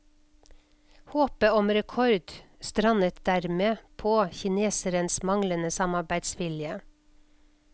Håpet om rekord strandet dermed på kinesernes manglende samarbeidsvilje.